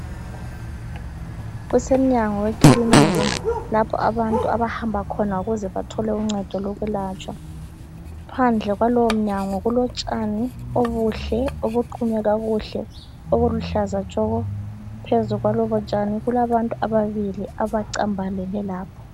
Kusemnyango wekilinika lapho abantu abahamba khona ukuze bathole uncedo lokwelatshwa. Phandle kwalowo mnyango kulotshani obuhle, obuqunywe kakuhle, obuluhlaza tshoko, phezu kwalobo tshani kulabantu ababili abacambalele lapho